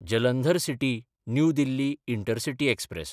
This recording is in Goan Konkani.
Jalandhar city new Delhi intercity express